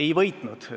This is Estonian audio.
Ei võitnud!